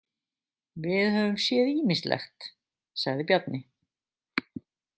Við höfum séð ýmislegt, sagði Bjarni.